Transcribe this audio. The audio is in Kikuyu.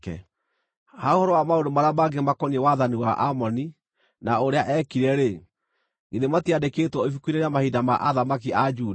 Ha ũhoro wa maũndũ marĩa mangĩ makoniĩ wathani wa Amoni, na ũrĩa eekire-rĩ, githĩ matiandĩkĩtwo ibuku-inĩ rĩa mahinda ma athamaki a Juda?